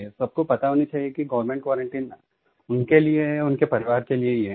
सबको पता होना चाहिये कि गवर्नमेंट क्वारंटाइन उनके लिये है उनके परिवार के लिये ही है